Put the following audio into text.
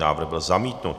Návrh byl zamítnut.